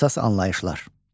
Əsas anlayışlar.